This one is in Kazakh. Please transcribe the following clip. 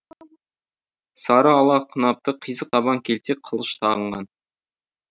сары ала қынапты қисық табан келте қылыш тағынған